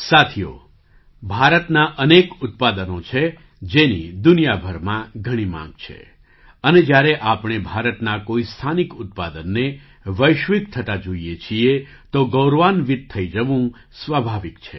સાથીઓ ભારતનાં અનેક ઉત્પાદનો છે જેની દુનિયાભરમાં ઘણી માંગ છે અને જ્યારે આપણે ભારતના કોઈ સ્થાનિક ઉત્પાદનને વૈશ્વિક થતા જોઈએ છીએ તો ગૌરવાન્વિત થઈ જવું સ્વાભાવિક છે